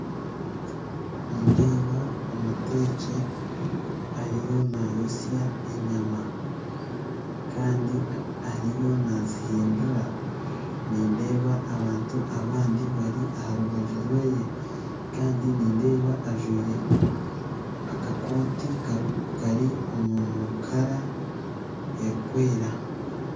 Nindeeba omuteeki ariyo naayotsya enyama kandi ariyo nazihindura nindeeba abantu abandi bari aharubaju rwe nindeeba akakooti Kara erikwera